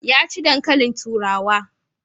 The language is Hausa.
Ya ci dankalin turawa.